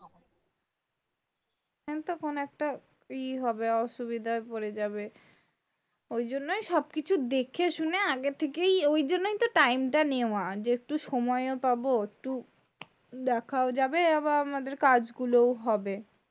কোন একটা ই হবে অসুবিধায় পড়ে যাবে ওইজন্য সবকিছু দেখেশুনেই আগের থেকেই ওইজন্যই তো টাইমটা নেওয়া যেহেতু সময় ও পাবো একটু দেখাও যাবে আবার আমাদের কাজগুলো হবে